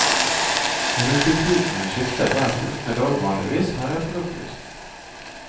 Rutetidene skifter hver fjortende dag vanligvis, har jeg fått opplyst.